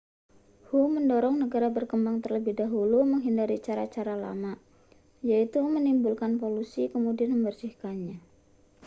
hu mendorong negara berkembang terlebih dahulu menghindari cara-cara lama yaitu menimbulkan polusi kemudian membersihkannya